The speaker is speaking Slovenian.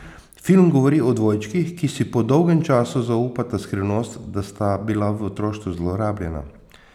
Film govori o dvojčkih, ki si po dolgem času zaupata skrivnost, da sta bila v otroštvu zlorabljena.